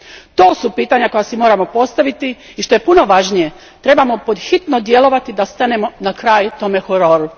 To su pitanja koja si moramo postaviti i što je puno važnije, trebamo pod hitno djelovati da stanemo na kraj tome hororu.